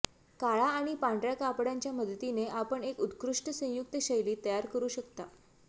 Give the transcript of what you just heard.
काळा आणि पांढर्या कपड्यांच्या मदतीने आपण एक उत्कृष्ट संयुक्त शैली तयार करू शकता